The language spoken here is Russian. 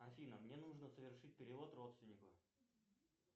афина мне нужно совершить перевод родственнику